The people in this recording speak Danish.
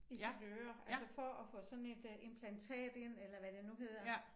I sit øre altså for at få sådan et øh implantat ind eller hvad det nu hedder